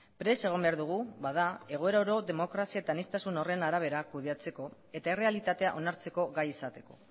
prest egon behar dugu bada egoera oro demokrazia eta aniztasun horren arabera kudeatzeko eta errealitatea onartzeko gai izateko